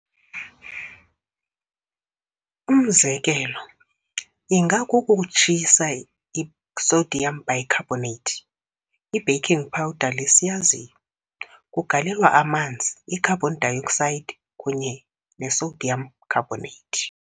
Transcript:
Umzekelo ingakukutshisa i-sodium bicarbonate, i-baking powder le siyaziyo. kugalelwa amanzi, i-carbon dioxide, kunye nesodium carbonate.